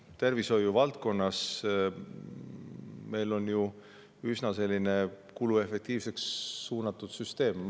Tervishoiu valdkonnas on meil ju üsna kuluefektiivseks suunatud süsteem.